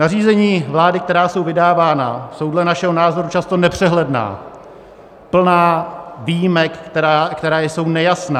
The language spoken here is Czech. Nařízení vlády, která jsou vydávána, jsou dle našeho názoru často nepřehledná, plná výjimek, které jsou nejasné.